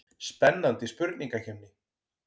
Spennandi spurningakeppni.